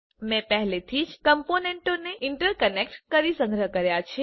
મેં પહેલેથી જ કમ્પોનન્ટોને ઇન્ટરકનેક્ટ કરી સંગ્રહ કર્યા છે